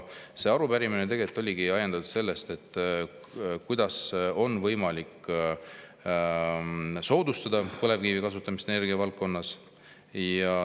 See arupärimine tegelikult oligi ajendatud, kuidas on võimalik soodustada põlevkivi kasutamist energiavaldkonnas.